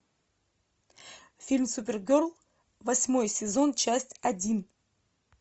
фильм супергерл восьмой сезон часть один